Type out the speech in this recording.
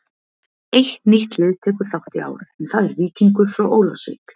Eitt nýtt lið tekur þátt í ár en það er Víkingur frá Ólafsvík.